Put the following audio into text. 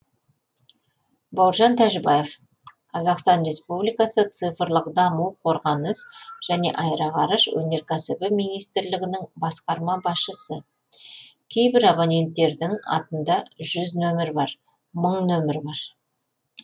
бауыржан тәжібаев қазақстан республикасы цифрлық даму қорғаныс және аэроғарыш өнеркәсібі министрлігінің басқарма басшысы кейбір абоненттердің атында жүз нөмір бар мың нөмір бар